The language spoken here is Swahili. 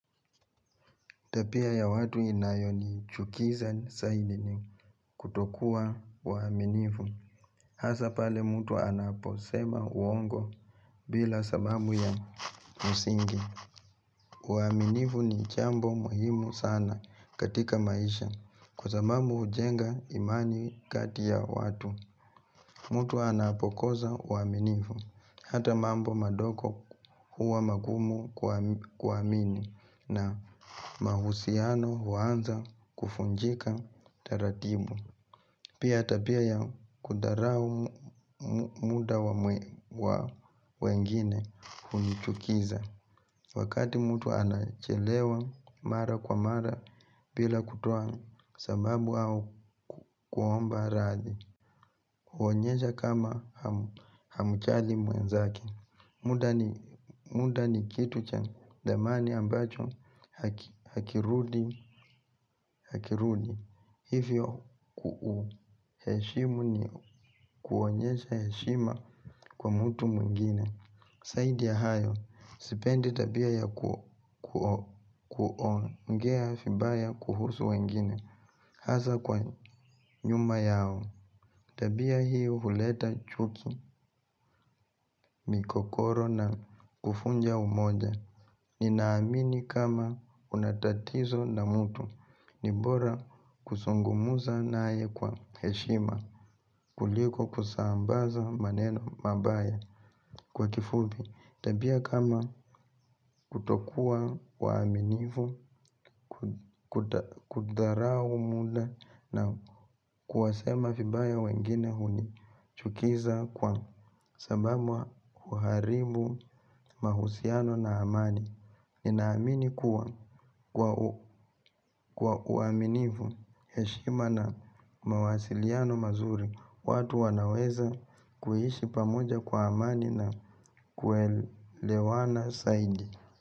Tabia ya watu inayonichukiza zaidi ni kutokuwa waaminifu. Hasaa pale mtu anaposema uongo bila sababu ya msingi. Uaminifu ni jambo muhimu sana katika maisha kwa sababu hujenga imani kati ya watu. Mtu anapokoaa uaminifu. Hata mambo madogo huwa magumu kuamini na mahusiano huanza kuvunjika taratibu. Pia tabia ya kudharau muda wa wengine hunichukiza. Wakati mtu anachelewa mara kwa mara bila kutoa sababu au kuomba radhi. Huonyesha kama hamjali mwenzake. Muda ni muda ni kitu cha thamani ambacho hakirudi. Hivyo kuheshimu ni kuonyesha heshima kwa mtu mwingine. Zaidi ya hayo, sipendi tabia ya kuongea vibaya kuhusu wengine, hasa kwa nyuma yao, tabia hiyo huleta chuki migogoro na huvunja umoja, ninaamini kama una tatizo na mtu, ni bora kuzungumza naye kwa heshima, kuliko kusambaza maneno mabaya kwa kifupi. Tabia kama kutokuwa waaminifu, kudharau muda na kuwasema vibaya wengine huni chukiza kwa sababu huharibu mahusiano na amani. Ninaamini kuwa kwa uaminifu, heshima na mawasiliano mazuri watu wanaweza kuishi pamoja kwa amani na kuelewana zaidi.